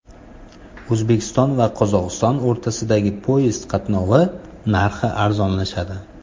O‘zbekiston va Qozog‘iston o‘rtasidagi poyezd qatnovi narxi arzonlashadi.